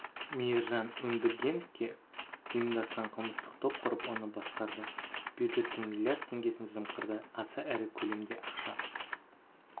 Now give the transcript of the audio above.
мейіржан өндіргеновке ұйымдасқан қылмыстық топ құрып оны басқарды бюджеттің миллиард теңгесін жымқырды аса ірі көлемде ақша